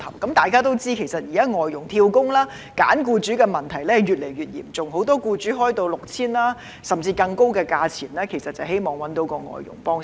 大家也知道，現時外傭"跳工"及挑選僱主的問題越來越嚴重，很多僱主以 6,000 元甚至更高的價錢來招聘外傭，無非是希望覓得外傭幫忙。